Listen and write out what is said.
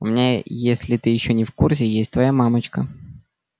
у меня если ты ещё не в курсе есть твоя мамочка